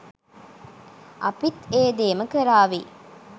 අපිත් ඒ දේම කරාවි.